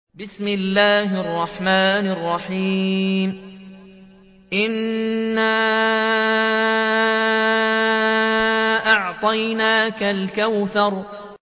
إِنَّا أَعْطَيْنَاكَ الْكَوْثَرَ